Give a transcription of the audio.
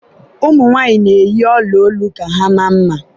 ụmụ nwaanyị na-eyi ọla olu ka ha maa mma